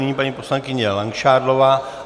Nyní paní poslankyně Langšádlová.